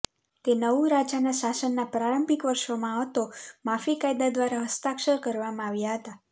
તે નવું રાજાના શાસનના પ્રારંભિક વર્ષોમાં હતો માફી કાયદા દ્વારા હસ્તાક્ષર કરવામાં આવ્યા હતા